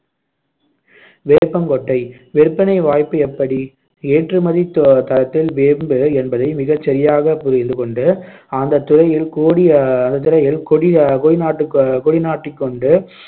வேப்பங்கொட்டை விற்பனை வாய்ப்பு எப்படி ஏற்றுமதித் த~ தரத்தில் வேம்பு என்பதை மிகச் சரியாக புரிந்து கொண்டு அந்தத் துறையில் கோடி ஆஹ் கொடி கொடி கொடி நாட்டிக் கொண்டு